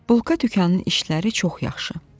Bulka dükanının işləri çox yaxşı.